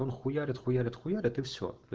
он хуярит хуярит хуярит и все